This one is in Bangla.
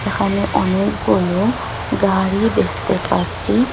এখানে অনেকগুলো গাড়ি দেখতে পারচি।